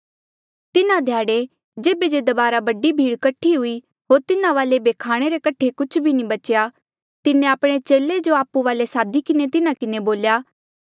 तिन्हा ध्याड़े जेबे जे दबारा बडी भीड़ कठी हुई होर तिन्हा वाले ऐबे खाणे रे कठे कुछ भी नी बच्या तिन्हें आपणे चेले जो आपु वाले सादी किन्हें तिन्हा किन्हें बोल्या